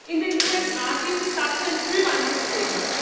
In den USA gibt es dazu ein Frühwarnsystem.